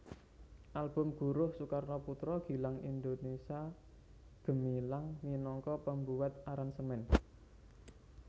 Album Guruh Soekarno Putra Gilang Indonesia Gemilang minangka pembuat aransemen